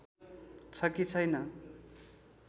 छ कि छैन